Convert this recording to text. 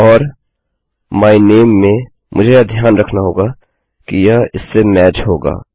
और my name में मुझे यह ध्यान रखना होगा कि यह इससे मैच होगा